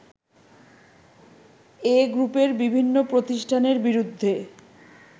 এ গ্রপের বিভিন্ন প্রতিষ্ঠানের বিরুদ্ধে